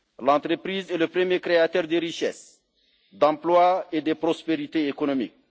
an. L'entreprise est le premier créateur de richesses, d'emploi et de prospérité économique.